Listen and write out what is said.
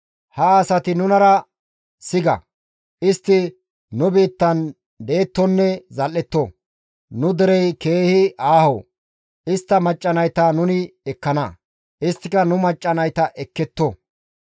«Ha asati nunara siga; istti nu biittan dettonne zal7etto; nu derey keehi aaho; istta macca nayta nuni ekkana; isttika nu macca nayta ekketto.